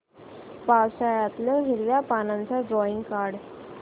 पावसाळ्यातलं हिरव्या पानाचं ड्रॉइंग काढ